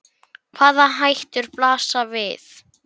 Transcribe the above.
Hvaða hættur blasa við?